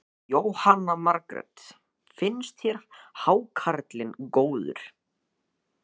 Jóhanna Margrét: Finnst þér hákarlinn góður?